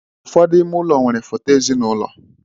Ụfọdụ ime ụlọ nwere foto ezinụlọ.